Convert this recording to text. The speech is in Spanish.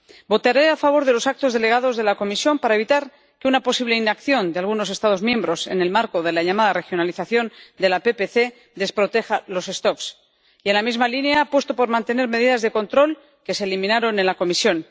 Votaré a favor de los actos delegados de la Comisión para evitar que una posible inacción de algunos Estados miembros, en el marco de la llamada regionalización de la PPC, desproteja las poblaciones y, en la misma línea, apuesto por mantener medidas de control, que se eliminaron en la Comisión.